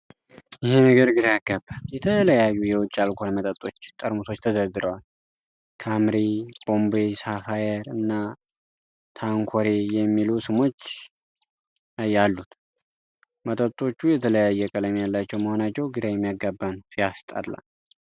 ይሄ ነገር ግራ ያጋባል! የተለያዩ የውጭ አልኮል መጠጦች ጠርሙሶች ተደርድረዋል። "ካምፓሪ"፣ "ቦምቤይ ሳፋየር" እና "ታንኩሬይ" የሚሉ ስሞች ይ አሉት። መጠጦቹ የተለያየ ቀለም ያላቸው መሆናቸው ግራ የሚያጋባ ነው። ሲያስጠላ!